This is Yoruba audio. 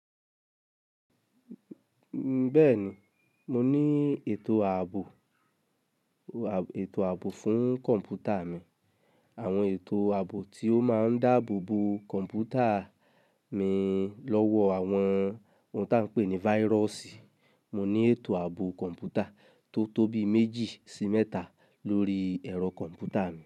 Bẹ́ẹ̀ ni, mo ní ètò ààbò, ètò ààbò fún kọ̀ǹpútà mi. Àwọn ètò ààbò tí ó máa ń dáàbò bo kọ̀ǹpútà mi lọ́wọ́ àwọn ohun tí a ń pè ní virus. Mo ní ètò ààbò kọ̀ǹpútà tó tóbi méjì sí mẹ́ta lórí ẹ̀rọ kọ̀ǹpútà mi.